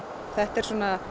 þetta er